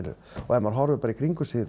ef maður horfir í kringum sig